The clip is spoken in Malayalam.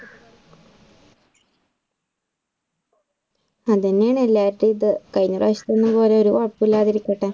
അതുതന്നെയാണ് എല്ലാരുടെയുംഇത് കഴിഞ്ഞ പ്രാവശ്യത്തെ പോലെ ഒരു കുഴപ്പവും ഇല്ലാതിരിക്കട്ടെ.